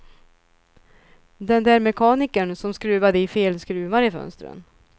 Den där mekanikern som skruvade i fel skruvar i fönstren.